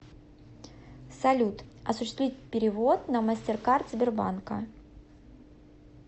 салют осуществить перевод на мастеркард сбербанка